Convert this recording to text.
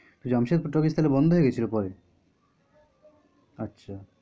Jamshedpur talkies তাহলে বন্ধ হয়ে গেছিল পরে? আচ্ছা